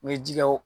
U bɛ ji kɛ o